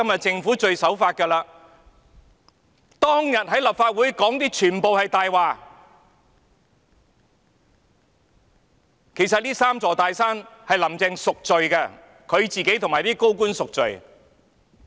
政府當天在立法會說的全是謊話，"林鄭"其實要為這"三座大山"贖罪，她自己和一眾高官也要贖罪。